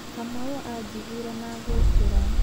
Kamau anjiguire na agĩũkĩra.